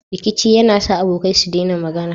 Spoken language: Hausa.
Rikici yAna sa abokai su dena magAna